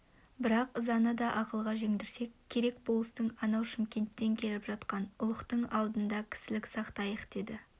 бірақ ызаны да ақылға жеңдірсек керек болыстың анау шымкенттен келіп жатқан ұлықтың алдында кісілік сақтайық деді